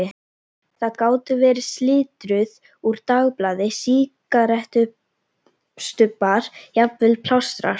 Það gátu verið slitrur úr dagblaði, sígarettustubbar, jafnvel plástrar.